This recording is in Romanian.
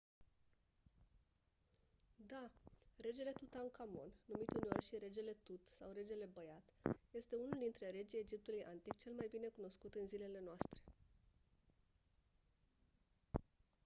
da! regele tutankhamon numit uneori și «regele tut» sau «regele băiat» este unul dintre regii egiptului antic cel mai bine cunoscut în zilele noastre.